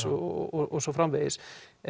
og svo framvegis